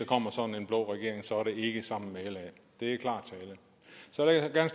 kommer sådan en blå regering så er det ikke sammen med la det er klar tale så vil jeg